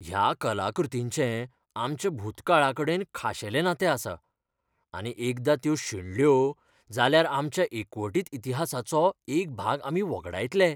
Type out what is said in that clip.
ह्या कलाकृतींचें आमच्या भुतकाळाकडेन खाशेलें नातें आसा, आनी एकदां त्यो शेणल्यो जाल्यार आमच्या एकवटीत इतिहासाचो एक भाग आमी वगडायतले.